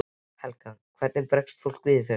Helga: Hvernig bregst fólk við þessu?